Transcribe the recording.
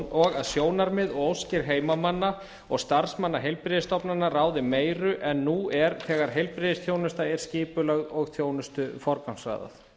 og að sjónarmið og óskir heimamanna og starfsmanna heilbrigðisstofnana ráði meiru en nú er þegar heilbrigðisþjónusta er skipulögð og þjónustu forgangsraðað